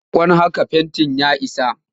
Sakko haka fentin ya isa!